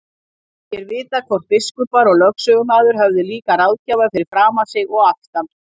Ekki er vitað hvort biskupar og lögsögumaður höfðu líka ráðgjafa fyrir framan sig og aftan.